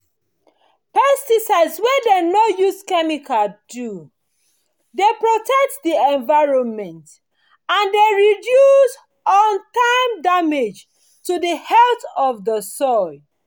pesticides wey dem no use chemicals do dey protect the environment and dey reduce lon-term damage to the health of the soil